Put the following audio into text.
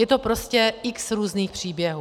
Je to prostě x různých příběhů.